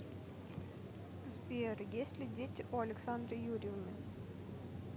сбер есть ли дети у александры юрьевны